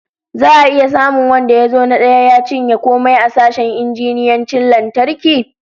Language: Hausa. Za'a iya samun wanda ya zo na daya ya cinye komai a sashen injiniyancin lantarki?